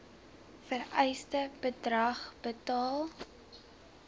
vereiste bedrag betaal